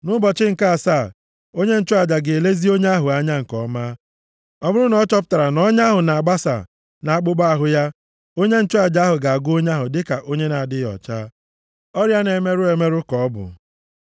Nʼụbọchị nke asaa, onye nchụaja ga-elezi onye ahụ anya nke ọma. Ọ bụrụ na ọ chọpụtara na ọnya ahụ na-abasaa nʼakpụkpọ ahụ ya, onye nchụaja ga-agụ onye ahụ dịka onye na-adịghị ọcha. Ọrịa na-emerụ emerụ ka ọ bụ.